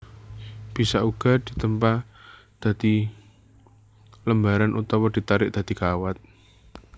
Bisa uga ditempa dadi lembaran utawa ditarik dadi kawat